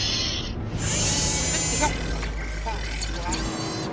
Hún mundi hjálpa, fara og athuga